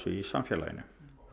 í samfélaginu